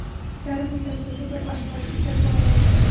Yarim litr suvga bir osh qoshiq sirka aralashtiring.